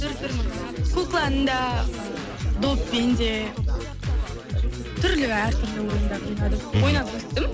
түр түрін ойнадым кукланы да доппен де түрлі әртүрлі ойындар ойнадым ойнап өстім